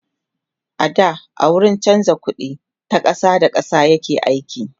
da a wurin chanza ƙuɗi ta ƙasa da ƙasa yake aiki